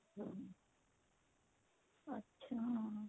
ਅੱਛਾ